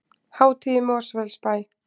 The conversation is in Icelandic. Hátíð í Mosfellsbæ